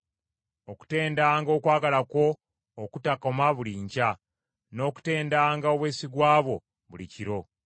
okutendanga okwagala kwo okutakoma buli nkya, n’okutendanga obwesigwa bwo buli kiro.